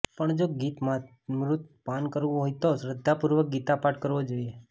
પણ જો ગીતામૃતનું પાન કરવું હોય તો શ્રધ્ધાપૂર્વક ગીતા પાઠ કરવો જોઈએ